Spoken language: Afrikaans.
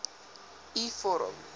u vorm